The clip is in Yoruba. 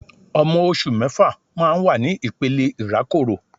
Ọmọ oṣù mẹ́fà máa ń wà ní ìpele ìrákòrò